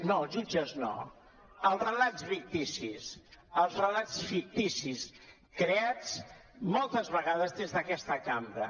no els jutges no els relats ficticis els relats ficticis creats moltes vegades des d’aquesta cambra